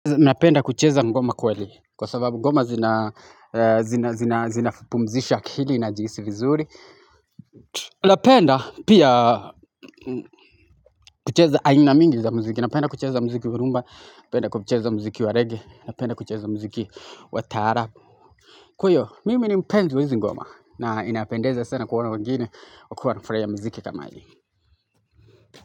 Napenda kucheza ngoma kweli, kwa sababu ngoma zinapumzisha akili najihisi vizuri. Napenda pia kucheza aina mingi za mziki. Napenda kucheza mziki wa rumba, napenda kucheza mziki wa reggae, napenda kucheza mziki wa taraab Kwa hiyo, mimi ni mpenzi wa hizi ngoma na inapendeza sana kuona wengine wakiwa wanafurahia mziki kama hii.